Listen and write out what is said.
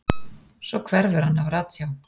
Svo hverfur hann af ratsjá.